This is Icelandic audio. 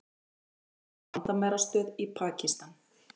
Skutu á landamærastöð í Pakistan